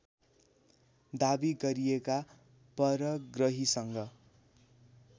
दावी गरिएका परग्रहीसँग